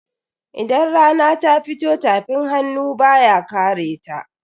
Idan rana ta fito tafin hannu baya kareta.